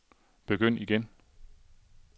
begynd igen